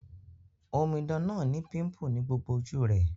Omidan náà ni pimple ni gbogbo ojú rẹ́